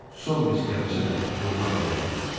Son mes gəmisi də yoluna davam eləyirdi.